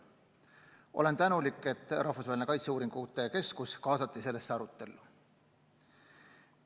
Olen tänulik, et Rahvusvaheline Kaitseuuringute Keskus kaasati sellesse arutellu.